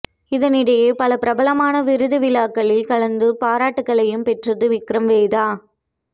இதனிடையே பல பிரபலமான விருதுவிழாக்களில் கலந்து பாராட்டுக்களையும் பெற்றது விக்ரம் வேதா